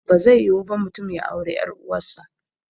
Bazai yiwu ba mutum ya auri ƴar uwar sa